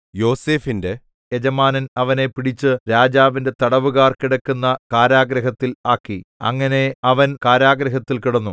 യോസേഫിന്റെ യജമാനൻ അവനെ പിടിച്ച് രാജാവിന്റെ തടവുകാർ കിടക്കുന്ന കാരാഗൃഹത്തിൽ ആക്കി അങ്ങനെ അവൻ കാരാഗൃഹത്തിൽ കിടന്നു